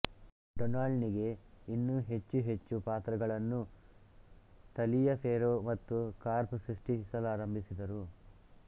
Donald ನಿಗೆ ಇನ್ನೂ ಹೆಚ್ಚು ಹೆಚ್ಚು ಪಾತ್ರಗಳನ್ನೂ ತಲಿಯಫೆರ್ರೋ ಮತ್ತು ಕಾರ್ಪ್ ಸೃಷ್ಟಿಸಲಾರಂಭಿಸಿದರು